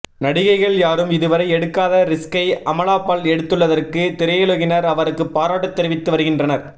நடிகைகள் யாரும் இதுவரை எடுக்காத ரிஸ்க்கை அமலா பால் எடுத்துள்ளதற்கு திரையுலகினர் அவருக்கு பாராட்டு தெரிவித்து வருகின்றனர்